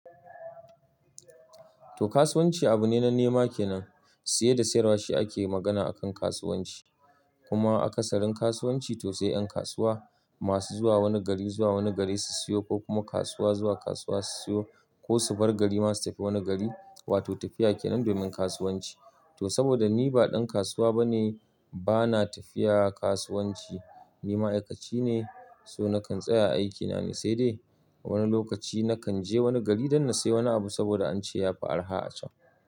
To kasuwanci abu ne na nema kenan, siye da siyarwa shi ake magana akan kasuwanci. Kuma a kasarin kasuwanci to sai yan kasuwa masu zuwa wani gari zuwa wani gari su siyo ko kuma kasuwa zuwa kasuwa su siyo ko su bar gari masu tafi wani gari. Wato tafiya kenan domin kasuwanci. To saboda ni ba ɗan kasuwa bane bana tafiya kasuwanci. Ni ma'aikaci ne, so nakan tsaya a aikina ne sai dai wani lokaci nakan je wani gari don na siya wani abu saboda an ce yafi araha a can.